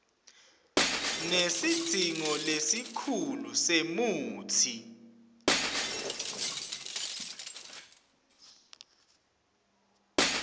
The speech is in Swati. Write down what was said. nesidzingo lesikhulu semutsi